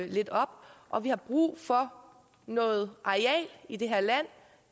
lidt op og vi har brug for noget areal i det her land